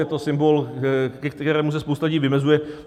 Je to symbol, ke kterému se spousta lidí vymezuje.